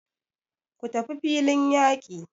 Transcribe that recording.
Ku tafi filin yaki!